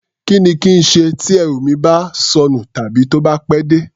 Kí ni kí n ṣe tí ẹrù mi bá sọnù tàbí tó bá pẹ́ dé?